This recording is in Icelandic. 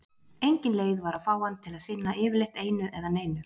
Engin leið var að fá hann til að sinna yfirleitt einu eða neinu.